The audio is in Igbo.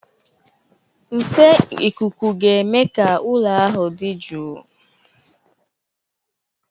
Nfe ikuku ga-eme ka ụlọ ahụ dị jụụ.